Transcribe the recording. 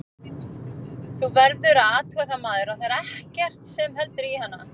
Þú verður að athuga það maður, að þar er ekkert sem heldur í hana.